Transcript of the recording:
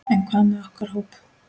En hvað með okkar hóp?